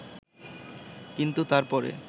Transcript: কিন্তু তারপরে